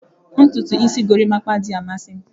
Ntutu isi gorimapa adịghị amasị m